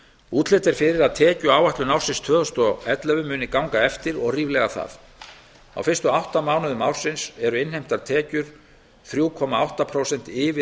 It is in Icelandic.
útlit er fyrir að tekjuáætlun ársins tvö þúsund og ellefu muni ganga eftir og ríflega það á fyrstu átta mánuðum ársins eru innheimtar tekjur þrjú komma átta prósent yfir